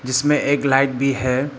जिसमें एक लाइट भी है।